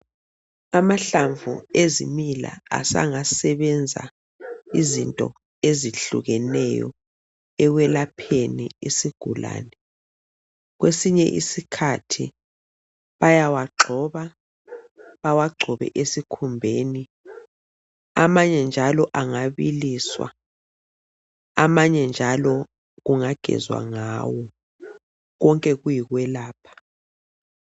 Amahlamnvu ezimila sengasebenza izinto ezitshiyetshiyeneyo ekwelapheni umuntu sengasebenza ukugcotshwa kanye lokunatha konke lokhu zindlela zokwelapha umzimba osenhlungwini.